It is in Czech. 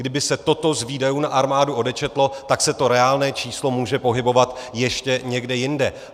Kdyby se toto z výdajů na armádu odečetlo, tak se to reálné číslo může pohybovat ještě někde jinde.